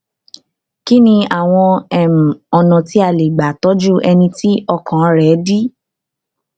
kí ni àwọn um ọnà tí a lè gbà tọjú ẹni tí ọkàn rẹ dí